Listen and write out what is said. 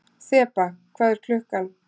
Þeba, hvað er klukkan?